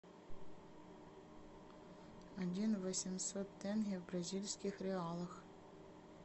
один восемьсот тенге в бразильских реалах